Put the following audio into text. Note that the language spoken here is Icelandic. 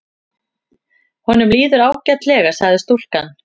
Honum líður ágætlega sagði stúlkan.